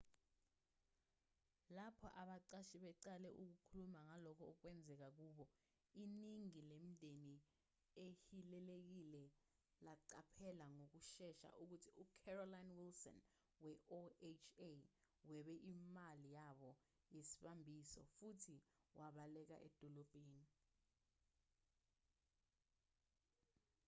lapho abaqashi beqala ukukhuluma ngalokho okwenzeke kubo iningi lemindeni ehilelekile laqaphela ngokushesha ukuthi ucarolyn wilson we-oha webe imali yabo yesibambiso futhi wabaleka edolobheni